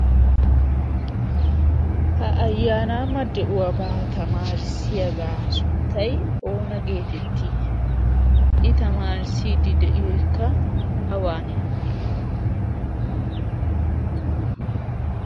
ha ayyaanaamma de'uwaabaa tamaarissiyaagaa sunttay oona geetettii i tamaarissiiddi de'iyo ikka awaanee?